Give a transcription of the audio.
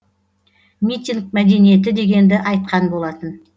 митинг мәдениеті дегенді айтқан болатын